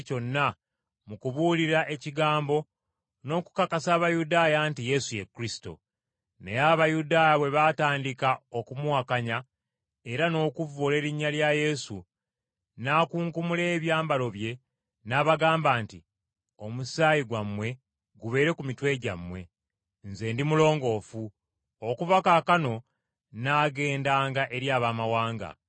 Naye Abayudaaya bwe baatandika okumuwakanya, era n’okuvvoola erinnya lya Yesu, n’akunkumula ebyambalo bye, n’abagamba nti, “Omusaayi gwammwe gubeere ku mitwe gyammwe! Nze ndi mulongoofu. Okuva kaakano nnaagendanga eri Abaamawanga.”